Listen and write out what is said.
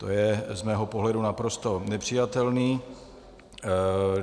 To je z mého pohledu naprosto nepřijatelné.